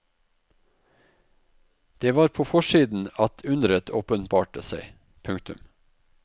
Det var på forsiden at underet åpenbarte seg. punktum